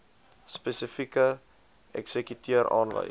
spesifieke eksekuteur aanwys